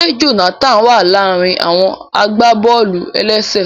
Ṣe Jonathan wa laarin àwọn agbábọ̀ọ̀lù-elese?